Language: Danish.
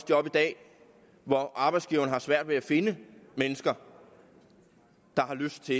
job i dag hvor arbejdsgiverne har svært ved at finde mennesker der har lyst til